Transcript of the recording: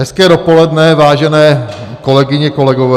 Hezké dopoledne, vážené kolegyně, kolegové.